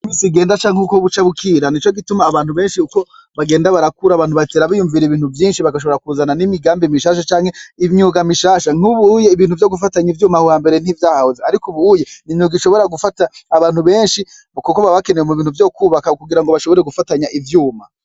Umusi uko buca bukira niko abantu benshi bagenda barakura abantu batera biyumvira ibintu vyinshi bagashobora no kuzana nimigambi mishasha canke imyuga mishasha nkubuye ibintu vyo gufatanya ivyuma aho hambere ntaho vyahoze ariko ubu uye imyuga ishobora gufata abantu benshi kuko baba bakenewe mubintu vyo kubaka kugirango bashobore gufatanya ivyuma